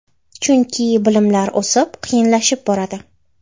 Chunki bilimlar o‘sib va qiyinlashib boradi.